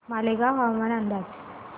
मालेगाव हवामान अंदाज